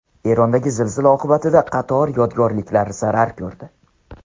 Erondagi zilzila oqibatida qator yodgorliklar zarar ko‘rdi.